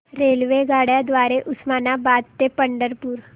रेल्वेगाड्यां द्वारे उस्मानाबाद ते पंढरपूर